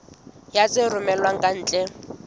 ya tse romellwang ka ntle